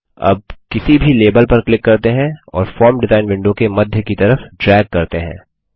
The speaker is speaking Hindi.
अब किसी भी लेबल पर क्लिक करते हैं और फॉर्म डिजाईन विंडो के मध्य की तरफ ड्रैग करते हैं